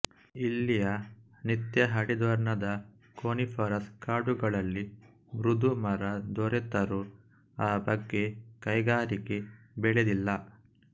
ಇಲ್ಲಿಯ ನಿತ್ಯಹರಿದ್ವರ್ಣದ ಕೋನಿಫರಸ್ ಕಾಡುಗಳಲ್ಲಿ ಮೃದು ಮರ ದೊರೆತರೂ ಆ ಬಗ್ಗೆ ಕೈಗಾರಿಕೆ ಬೆಳೆದಿಲ್ಲ